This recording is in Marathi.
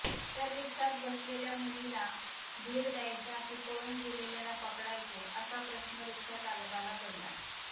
तर रिक्षात बसलेल्या मुलीला धीर द्यायचा कि पळून गेलेल्याला पकडायचे असा प्रश्न रिक्षाचालकाला पडला